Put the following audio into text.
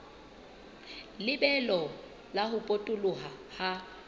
lebelo la ho potoloha ha